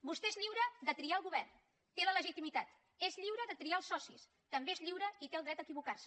vostè és lliure de triar el govern té la legitimitat és lliure de triar els socis també és lliure i té el dret a equivocar se